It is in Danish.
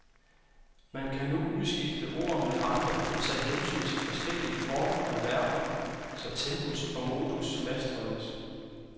Man kan nu udskifte ord med andre og tage hensyn til forskellige former af verber, så tempus og modus fastholdes.